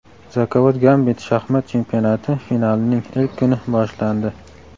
"Zakovat-Gambit" shaxmat chempionati finalining ilk kuni boshlandi.